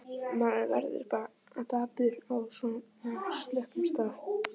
Maður verður bara dapur á svona slöppum stað.